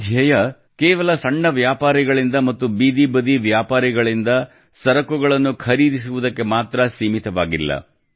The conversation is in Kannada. ಈ ಧ್ಯೇಯ ಕೇವಲ ಸಣ್ಣ ವ್ಯಾಪಾರಿಗಳಿಂದ ಮತ್ತು ಬೀದಿಬದಿ ವ್ಯಾಪಾರಿಗಳಿಂದ ಸರಕುಗಳನ್ನು ಖರೀದಿಸುವುದಕ್ಕೆ ಮಾತ್ರ ಸೀಮಿತವಾಗಿಲ್ಲ